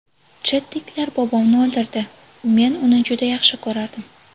Chetniklar bobomni o‘ldirdi, men uni juda yaxshi ko‘rardim.